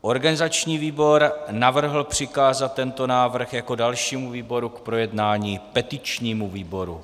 Organizační výbor navrhl přikázat tento návrh jako dalšímu výboru k projednání petičnímu výboru.